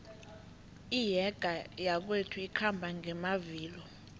iyege yakwethu ikhamba ngamavilo